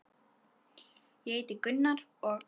Ég heiti Gunnar og.